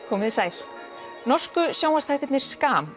komið þið sæl norsku sjónvarpsþættirnir